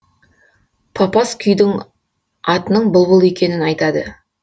папас күйдің атының бұлбұл екенін айтады